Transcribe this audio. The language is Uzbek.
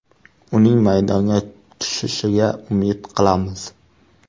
Uning maydonga tushishiga umid qilamiz.